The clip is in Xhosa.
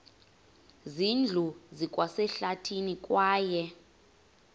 zindlu zikwasehlathini kwaye